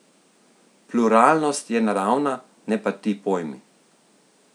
Pluralnost je naravna, ne pa ti pojmi.